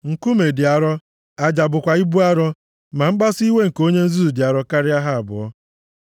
Nkume dị arọ, aja bụkwa ibu arọ, ma mkpasu iwe nke onye nzuzu dị arọ karịa ha abụọ.